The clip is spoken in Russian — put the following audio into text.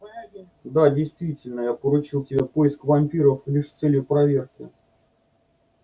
да действительно я поручил тебе поиск вампиров лишь с целью проверки